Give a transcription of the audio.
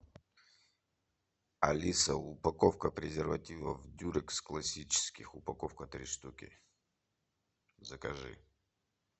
алиса упаковка презервативов дюрекс классических упаковка три штуки закажи